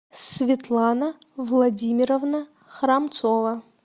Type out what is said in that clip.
светлана владимировна храмцова